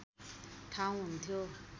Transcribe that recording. ठाउँ हुन्थ्यो